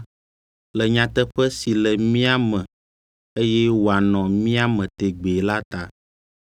le nyateƒe si le mía me eye wòanɔ mía me tegbee la ta: